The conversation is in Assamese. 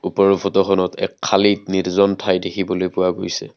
ওপৰৰ ফটোখনত এক খালী নিৰ্জন ঠাই দেখিবলৈ পোৱা গৈছে।